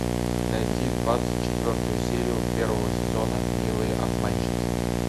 найти двадцать четвертую серию первого сезона милые обманщицы